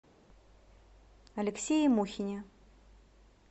алексее мухине